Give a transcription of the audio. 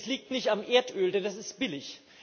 Es liegt nicht am Erdöl, denn das ist billig.